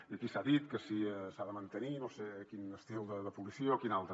i aquí s’ha dit que si s’ha de mantenir no sé quin estil de policia o quin altre